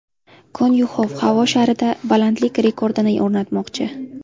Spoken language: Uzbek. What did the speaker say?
Konyuxov havo sharida balandlik rekordini o‘rnatmoqchi.